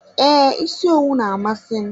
Ee, isi owu na-amasị m.